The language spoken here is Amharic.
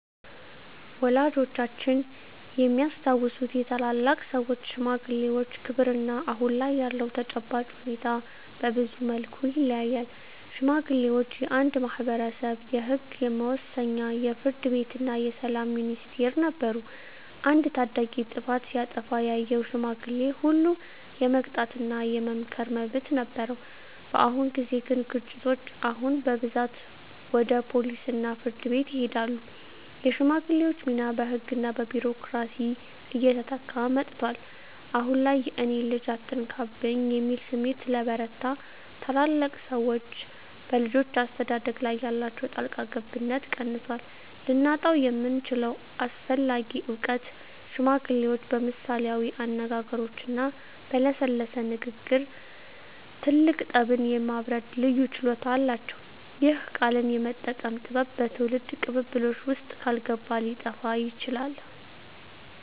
ወላጆቻችን የሚያስታውሱት የታላላቅ ሰዎች (ሽማግሌዎች) ክብርና አሁን ላይ ያለው ተጨባጭ ሁኔታ በብዙ መልኩ ይለያያል። ሽማግሌዎች የአንድ ማኅበረሰብ የሕግ መወሰኛ፣ የፍርድ ቤትና የሰላም ሚኒስቴር ነበሩ። አንድ ታዳጊ ጥፋት ሲያጠፋ ያየው ሽማግሌ ሁሉ የመቅጣትና የመምከር መብት ነበረው። በአሁን ጊዜ ግን ግጭቶች አሁን በብዛት ወደ ፖሊስና ፍርድ ቤት ይሄዳሉ። የሽማግሌዎች ሚና በሕግና በቢሮክራሲ እየተተካ መጥቷል። አሁን ላይ "የእኔን ልጅ አትነካብኝ" የሚል ስሜት ስለበረታ፣ ታላላቅ ሰዎች በልጆች አስተዳደግ ላይ ያላቸው ጣልቃ ገብነት ቀንሷል። ልናጣው የምንችለው አስፈላጊ እውቀት ሽማግሌዎች በምሳሌያዊ አነጋገሮችና በለሰለሰ ንግግር ትልቅ ጠብን የማብረድ ልዩ ችሎታ አላቸው። ይህ "ቃልን የመጠቀም ጥበብ" በትውልድ ቅብብሎሽ ውስጥ ካልገባ ሊጠፋ ይችላል።